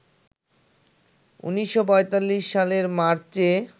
১৯৪৫ সালের মার্চে